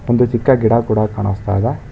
ಒಂದು ಚಿಕ್ಕ ಗಿಡ ಕೂಡ ಕಾಣಿಸ್ತಾ ಇದೆ.